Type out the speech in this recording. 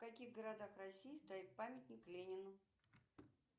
в каких городах россии стоит памятник ленину